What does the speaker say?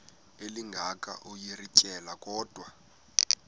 elinga ukuyirintyela kodwa